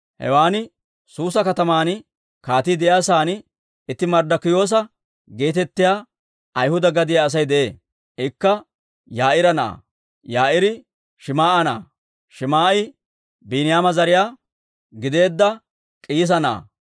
Hewan Suusa kataman kaatii de'iyaa saan itti Marddikiyoosa geetettiyaa Ayhuda gadiyaa Asay de'ee. Ikka Yaa'iira na'aa; Yaa'iiri Shim"a na'aa; Shim"i Biiniyaama zariyaa gideedda K'iisa na'aa.